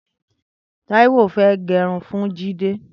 Taiwo fẹ̀ gẹrún fún Jide